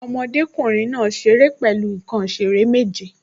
Ọmọdékùnrin náà ṣeré pẹ̀lú nǹkan ìṣeré méje